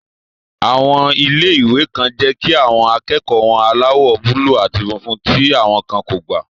Àwọn ilé-ìwé kan jẹ́ kí àwọn akẹ́kọ̀ọ́ wọ aláwọ̀ búúlù àti funfun, tí àwọn kan kò gbà